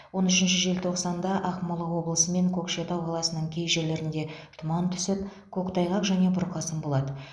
он үшінші желтоқсанда ақмола облысы мен көкшетау қаласының кей жерлеріне тұман түсіп көктайғақ және бұрқасын болады